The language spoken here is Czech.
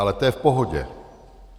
Ale to je v pohodě.